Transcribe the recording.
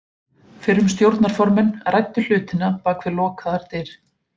Fyrrum stjórnarformenn ræddu hlutina bak við lokaðar dyr.